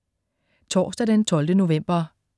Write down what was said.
Torsdag den 12. november